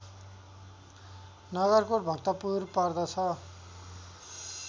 नगरकोट भक्तपुर पर्दछ